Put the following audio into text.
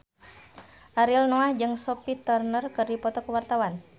Ariel Noah jeung Sophie Turner keur dipoto ku wartawan